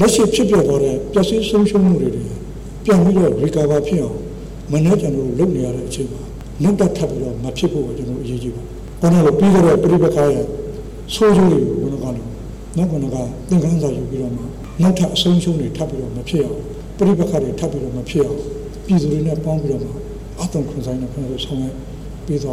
လက်ရှိဖြစ်ပျက်သွားတဲ့ ပျက်စီးဆုံးရှုံးမှုတွေ ဟာ ပြန်ပြီးတော့ကောင်းမွန်လာအောင် ကျနော်တို့လုပ်နေရတဲ့အချိန်မှာ နောက်ထပ်မဖြစ်ဖို့ အရေးကြီးပါတယ်၊ ပြီးခဲ့တဲ့ ပဋိပက္ခတွေရဲ့ အဆုံးရှုံးတွေကိုသိပြီးသလို နောက်ထပ်အဆုံးအရှုံးတွေ ထပ်ပြီးတော့မဖြစ်အောင် ပဋိပက္ခတွေ ထပ်ပြီးတော့မဖြစ်အောင် ပြည်သူတွေနဲ့ပေါင်းပြီးတော့မှ အားသွန်ခွန်စိုက် ကျနော်တို့ဆောင်ရွက်ပေးသွာ